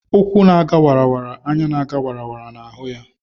Ụkwụ na aga wara wara anya na-aga wara wara na ahụ ya.